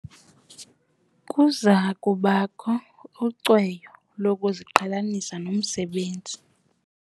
Kuza kubakho ucweyo lokuziqhelanisa nomsebenzi.